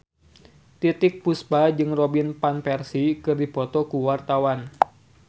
Titiek Puspa jeung Robin Van Persie keur dipoto ku wartawan